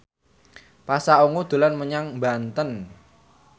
Pasha Ungu dolan menyang Banten